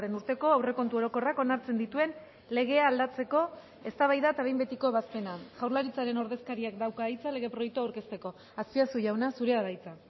urteko aurrekontu orokorrak onartzen dituen legea aldatzeko eztabaida eta behin betiko ebazpena jaurlaritzaren ordezkariak dauka hitza lege proiektua aurkezteko azpiazu jauna zurea da hitza